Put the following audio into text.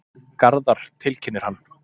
Garðar, tilkynnir hann.